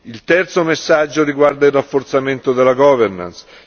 Il terzo messaggio riguarda il rafforzamento della governance